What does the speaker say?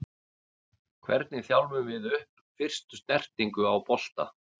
Hvernig þjálfum við upp fyrstu snertingu á bolta?